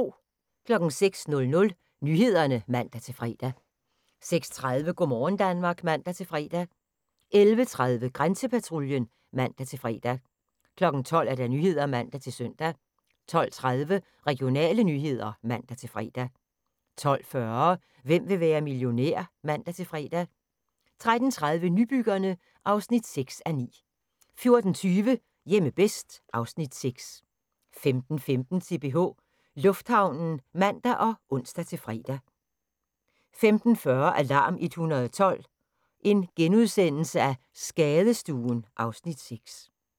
06:00: Nyhederne (man-fre) 06:30: Go' morgen Danmark (man-fre) 11:30: Grænsepatruljen (man-fre) 12:00: Nyhederne (man-søn) 12:30: Regionale nyheder (man-fre) 12:40: Hvem vil være millionær? (man-fre) 13:30: Nybyggerne (6:9) 14:20: Hjemme bedst (Afs. 6) 15:15: CPH Lufthavnen (man og ons-fre) 15:40: Alarm 112 – Skadestuen (Afs. 6)*